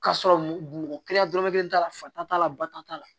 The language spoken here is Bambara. K'a sɔrɔ mɔgɔ kelen dɔrɔmɛ kelen t'a la fa ta t'a la ba ta t'a la